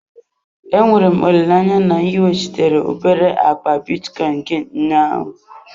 Enwere m olileanya na ị weghachitere obere akpa bitcoin gị ụnyaahụ?